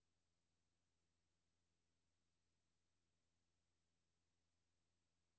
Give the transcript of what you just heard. Det danske aktiemarked blev onsdag svækket af uro på de internationale kapitalmarkeder.